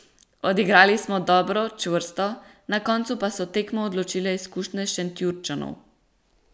Odigrali smo dobro, čvrsto, na koncu pa so tekmo odločile izkušnje Šentjurčanov.